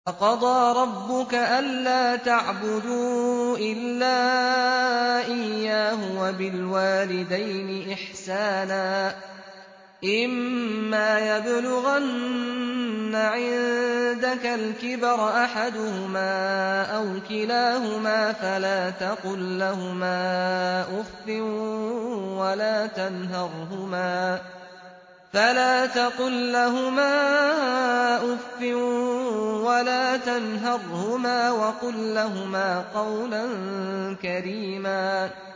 ۞ وَقَضَىٰ رَبُّكَ أَلَّا تَعْبُدُوا إِلَّا إِيَّاهُ وَبِالْوَالِدَيْنِ إِحْسَانًا ۚ إِمَّا يَبْلُغَنَّ عِندَكَ الْكِبَرَ أَحَدُهُمَا أَوْ كِلَاهُمَا فَلَا تَقُل لَّهُمَا أُفٍّ وَلَا تَنْهَرْهُمَا وَقُل لَّهُمَا قَوْلًا كَرِيمًا